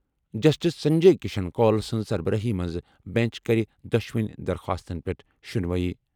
Justice Sanjay Kishan Kaul سٕنٛزِ سربرٲہی منٛز بیٚنچ کَرِ دۄشوٕنی درخاستَن پٮ۪ٹھ شُنوٲیی۔